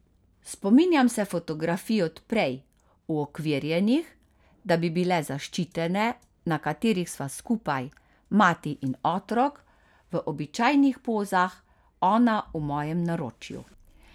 Spominjam se fotografij od prej, uokvirjenih, da bi bile zaščitene, na katerih sva skupaj, mati in otrok v običajnih pozah, ona v mojem naročju.